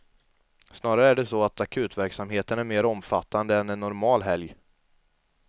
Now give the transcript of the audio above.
Snarare är det så att akutverksamheten är mer omfattande än en normal helg.